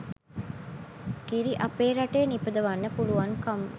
කිරි අපේ රටේ නිපදවන්න පුළුවන්කම